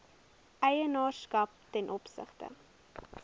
eienaarskap ten opsigte